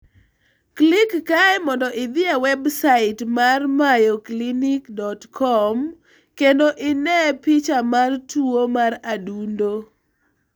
Klik kae mondo idhi e websait mar MayoClinic.com kendo ine picha mar tuwo mar adundo.